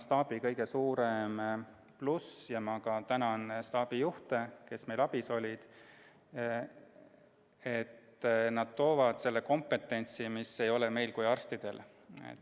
Staabi kõige suurem pluss – ma tänan ka staabijuhte, kes meil abis olid – on see, et nad toovad kaasa selle kompetentsi, mida meil kui arstidel ei ole.